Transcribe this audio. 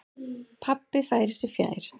Pabbi færir sig fjær.